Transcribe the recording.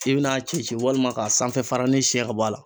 I bɛn'a ci ci walima ka sanfɛ faranin siɲɛ ka bɔ a la.